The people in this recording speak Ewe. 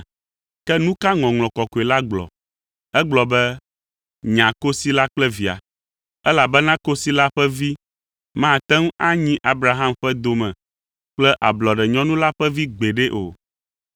Ke nu ka Ŋɔŋlɔ Kɔkɔe la gblɔ? Egblɔ be, “Nya kosi la kple via, elabena kosi la ƒe vi mate ŋu anyi Abraham ƒe dome kple ablɔɖenyɔnu la ƒe vi gbeɖe o.”